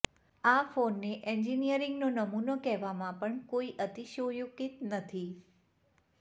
આ ફોનને એન્જિનિરિંગનો નમૂનો કહેવામાં પણ કોઈ અતિશયોક્તિ નથી